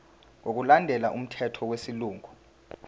ngokulandela umthetho wesilungu